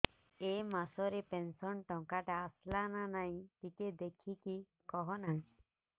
ଏ ମାସ ରେ ପେନସନ ଟଙ୍କା ଟା ଆସଲା ନା ନାଇଁ ଟିକେ ଦେଖିକି କହନା